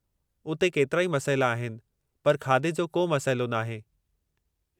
उते केतिराई मसइला आहिनि पर खाधे जो को मसइलो नाहे!